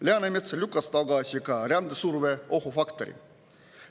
Läänemets lükkas tagasi ka rändesurveohufaktorid.